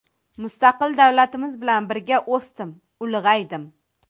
Mustaqil davlatimiz bilan birga o‘sdim, ulg‘aydim.